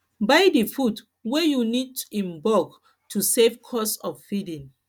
buy di food wey you need in bulk to save cost of feeding